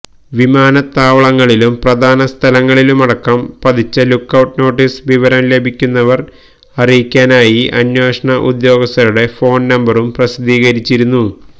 വിമാനത്താവളങ്ങളിലും പ്രധാന സ്ഥലങ്ങളിലുമടക്കം പതിച്ച ലുക്കൌട്ട് നോട്ടീസില് വിവരം ലഭിക്കുന്നവര് അറിയിക്കാനായി അന്വേഷണ ഉദ്യോഗസ്ഥരുടെ ഫോണ് നമ്പറുകളും പ്രസിദ്ധീകരിച്ചിരുന്നു